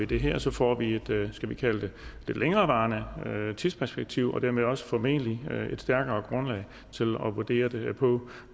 det her og så får vi et skal vi kalde det længerevarende tidsperspektiv og dermed også formentlig et stærkere grundlag at vurdere det på